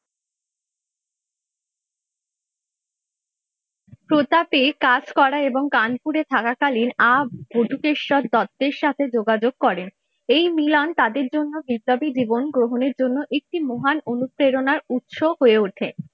প্রতাপে কাজ করা এবং কানপুরে থাকাকালীন আহ বটুকেশ্বর দত্তের সাথে যোগাযোগ করেন এই মিলন তাদের জন্য বিপ্লবী জীবন গ্রহণের জন্য একটি মহান অনুপ্রেরণার উৎস হয়ে ওঠে।